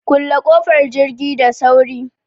Kulle ƙofar jirgi da sauri!